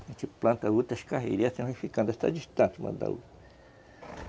A gente planta outras carreirinhas ficando, distante uma da outra.